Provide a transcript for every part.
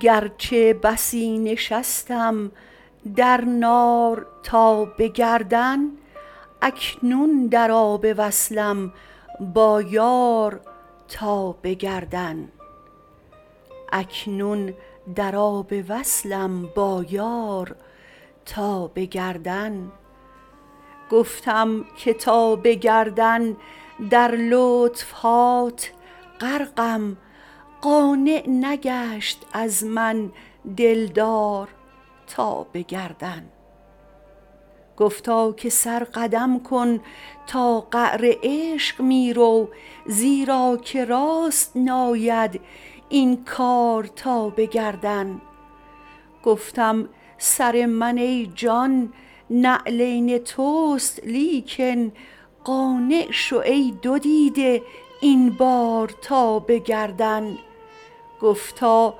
گرچه بسی نشستم در نار تا به گردن اکنون در آب وصلم با یار تا به گردن گفتم که تا به گردن در لطف هات غرقم قانع نگشت از من دلدار تا به گردن گفتا که سر قدم کن تا قعر عشق می رو زیرا که راست ناید این کار تا به گردن گفتم سر من ای جان نعلین توست لیکن قانع شو ای دو دیده این بار تا به گردن گفتا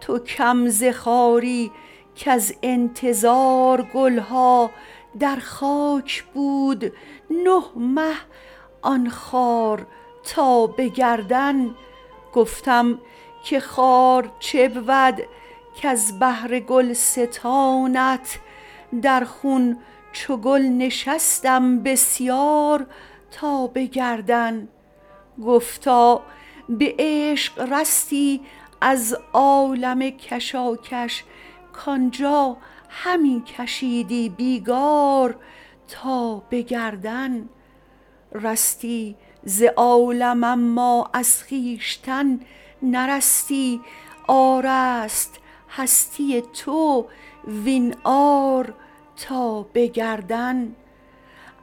تو کم ز خاری کز انتظار گل ها در خاک بود نه مه آن خار تا به گردن گفتم که خار چه بود کز بهر گلستانت در خون چو گل نشستم بسیار تا به گردن گفتا به عشق رستی از عالم کشاکش کان جا همی کشیدی بیگار تا به گردن رستی ز عالم اما از خویشتن نرستی عار است هستی تو وین عار تا به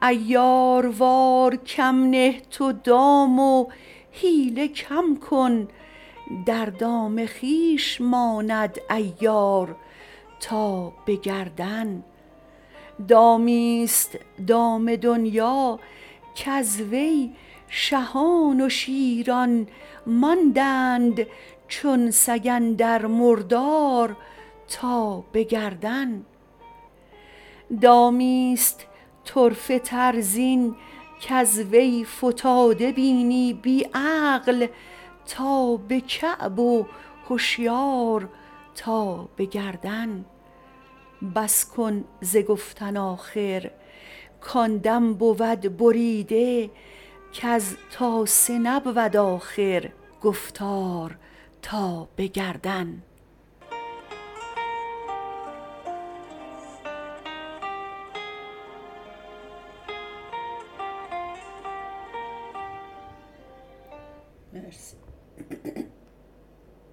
گردن عیاروار کم نه تو دام و حیله کم کن در دام خویش ماند عیار تا به گردن دامی است دام دنیا کز وی شهان و شیران ماندند چون سگ اندر مردار تا به گردن دامی است طرفه تر زین کز وی فتاده بینی بی عقل تا به کعب و هشیار تا به گردن بس کن ز گفتن آخر کان دم بود بریده کز تاسه نبود آخر گفتار تا به گردن